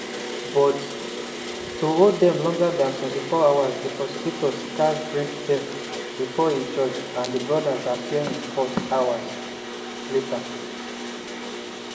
but to hold dem longer dan 24 hours di prosecutors gatz bring dem bifor a judge and di brothers appear in court hours later.